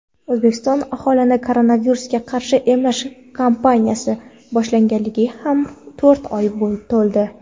O‘zbekiston aholini koronavirusga qarshi emlash kampaniyasi boshlanganiga ham to‘rt oy to‘ldi.